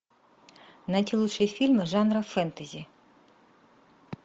найти лучшие фильмы жанра фэнтези